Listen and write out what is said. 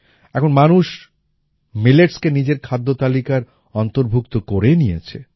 এখন মানুষ milletsকে নিজের খাদ্য তালিকার অন্তর্ভুক্ত করে নিয়েছে